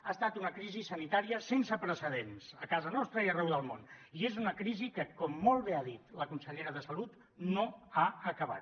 ha estat una crisi sanitària sense precedents a casa nostra i arreu del món i és una crisi que com molt bé ha dit la consellera de salut no ha acabat